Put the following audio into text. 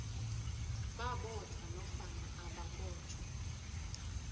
babotjhwa nofana ababotjhwa